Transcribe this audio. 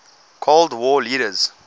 cold war leaders